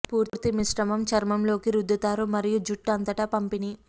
పూర్తి మిశ్రమం చర్మం లోకి రుద్దుతారు మరియు జుట్టు అంతటా పంపిణీ